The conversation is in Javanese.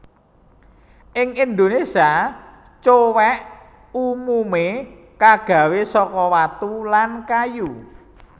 Ing Indonésia cowèk umumé kagawé saka watu lan kayu